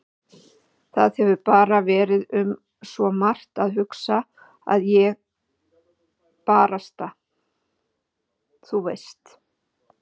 Það hefur bara verið um svo margt að hugsa að ég barasta. þú veist.